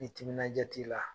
Ni timinan ja t'i la